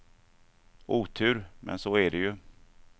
Otur, men så är det ju.